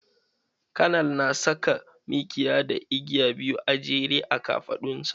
Kanal na saka mikiya da igiya biyu a jere a kafaɗan sa.